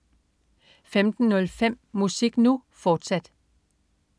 15.05 Musik Nu!, fortsat